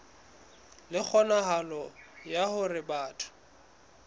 le kgonahalo ya hore batho